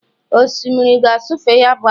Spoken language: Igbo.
osimiri na-asọfe ya bụ akụ